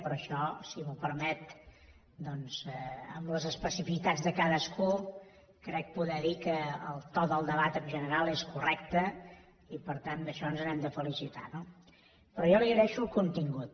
però això si m’ho permet amb les especificitats de cadascú crec poder dir que el to del debat en general és correcte i per tant d’això ens n’hem de felicitar no però jo li agraeixo el contingut